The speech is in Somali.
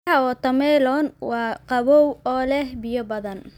Midhaha watermelon waa qabow oo leh biyo badan.